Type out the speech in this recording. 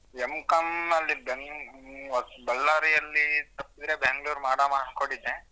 M.Com ಅಲ್ಲಿ ಬೆಂಗ~ ಬಳ್ಳಾರಿಯಲ್ಲಿ ತಪ್ಪಿದ್ರೆ ಬೆಂಗಳೂರಲ್ಲಿ ಮಾಡಣ ಅನ್ಕೊಂಡಿದ್ದೆ.